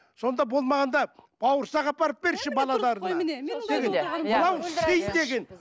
сонда болмағанда бауырсақ апарып берші